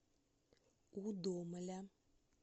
удомля